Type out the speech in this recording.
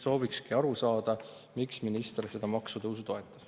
" Soovikski aru saada, miks minister seda maksutõusu toetas.